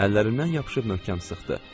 Əllərindən yapışıb möhkəm sıxdı.